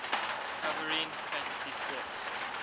covering fantasy sports